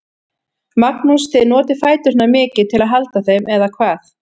Magnús: Þið notið fæturna mikið til að halda þeim, eða hvað?